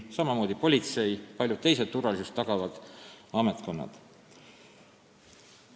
Sama kehtib politsei ja paljude teiste turvalisust tagavate ametkondade kohta.